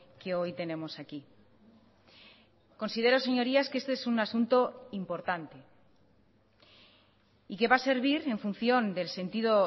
que hoy tenemos aquí considero señorías que este es un asunto importante y que va a servir en función del sentido